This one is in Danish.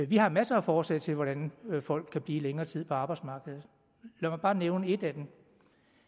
vi har masser af forslag til hvordan folk kan blive længere tid på arbejdsmarkedet lad mig bare nævne et af dem